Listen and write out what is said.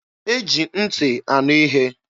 E ji ntị anụ ihe.